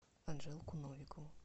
анжелку новикову